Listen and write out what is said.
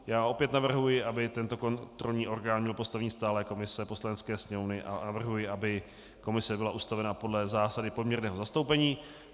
Já opět navrhuji, aby tento kontrolní orgán měl postavení stálé komise Poslanecké sněmovny, a navrhuji, aby komise byla ustavena podle zásady poměrného zastoupení.